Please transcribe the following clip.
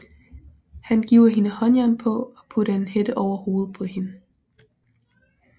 Han giver hende håndjern på og putter en hætte over hovedet på hende